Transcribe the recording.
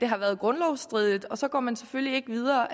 har været grundlovsstridige og så gik man selvfølgelig ikke videre